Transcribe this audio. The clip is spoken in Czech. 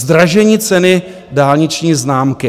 Zdražení ceny dálniční známky.